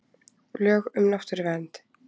Lög um náttúruvernd.